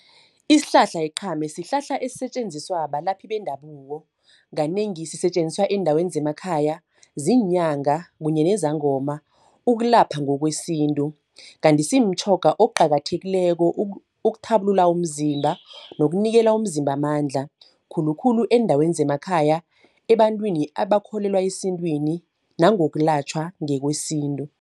Isihlahla iqhame, sihlahla esisetjenziswa balaphi bendabuko, kanengi sisetjenziswa eendaweni zemakhaya, ziinyanga, kunye nezangoma ukulapha ngokwesintu. Kanti simtjhoga okuqakathekileko ukuthabulula umzimba, nokunikela umzimba amandla. Khulukhulu eendaweni zemakhaya, ebantwini abakholelwa esintwini nangokulatjhwa ngokwesintu.